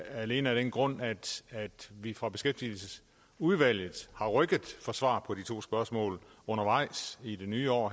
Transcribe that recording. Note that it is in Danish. alene af den grund at vi fra beskæftigelsesudvalget har rykket for svar på de to spørgsmål undervejs i det nye år